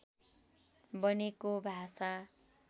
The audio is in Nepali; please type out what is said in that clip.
बनेको भाषा